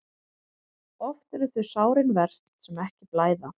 Oft eru þau sárin verst sem ekki blæða.